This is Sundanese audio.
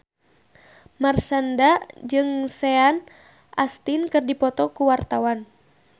Marshanda jeung Sean Astin keur dipoto ku wartawan